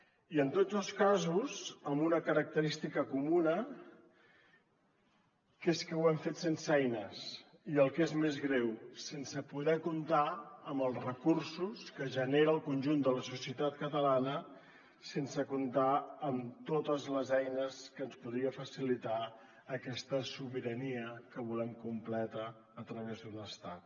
i en tots els casos amb una característica comuna que és que ho hem fet sense eines i el que és més greu sense poder comptar amb els recursos que genera el conjunt de la societat catalana sense comptar amb totes les eines que ens podria facilitar aquesta sobirania que volem completa a través d’un estat